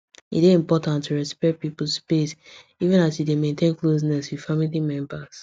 e dey important to respect people space even as you dey maintain closeness with family members